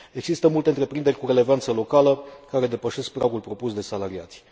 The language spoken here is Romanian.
Există multe întreprinderi cu relevanță locală care depășesc pragul propus de salariați.